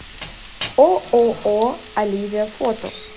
ооо оливия фото